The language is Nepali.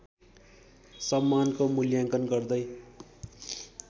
सम्मानको मूल्याङ्कन गर्दै